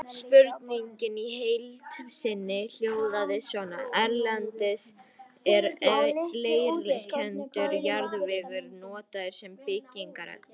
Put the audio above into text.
Spurningin í heild sinni hljóðaði svona: Erlendis er leirkenndur jarðvegur notaður sem byggingarefni.